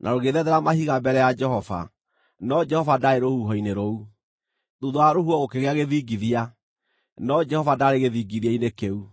na rũgĩthethera mahiga mbere ya Jehova, no Jehova ndaarĩ rũhuho-inĩ rũu. Thuutha wa rũhuho gũkĩgĩa gĩthingithia, no Jehova ndaarĩ gĩthingithia-inĩ kĩu.